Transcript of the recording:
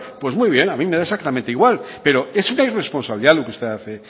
pues muy bien a mí me da exactamente igual pero es una irresponsabilidad lo que usted hace